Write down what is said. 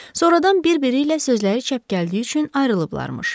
Sonradan bir-biri ilə sözləri çəp gəldiyi üçün ayrılıblarmış.